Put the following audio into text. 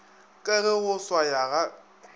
ka ge go swaya ga